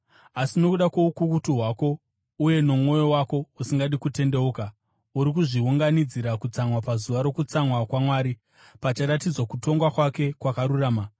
Asi nokuda kwoukukutu hwako uye nomwoyo wako usingadi kutendeuka, uri kuzviunganidzira kutsamwa pazuva rokutsamwa kwaMwari, pacharatidzwa kutonga kwake kwakarurama.